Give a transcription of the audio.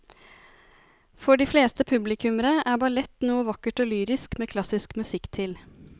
For de fleste publikummere er ballett noe vakkert og lyrisk med klassisk musikk til.